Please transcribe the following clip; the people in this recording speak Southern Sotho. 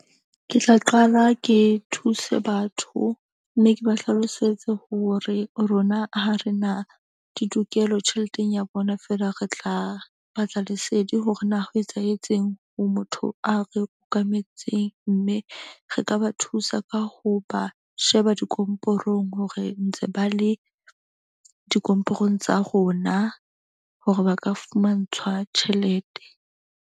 Ke tla qala ke thuse batho mme ke ba hlalosetse hore rona ha re na ditokelo tjheleteng ya bona. Fela re tla batla lesedi hore na ho etsahetseng ho motho a re okametseng. Mme re ka ba thusa ka ho ba sheba dikomporong hore ntse ba le dikomporo-ng tsa rona. Hore ba ka fumantshwa tjhelete.